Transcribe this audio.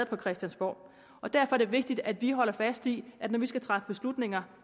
på christiansborg og derfor er det vigtigt at vi holder fast i at når vi skal træffe beslutninger